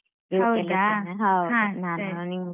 ಹೌದಾ ಹಾ ಹಾ ಸರಿ.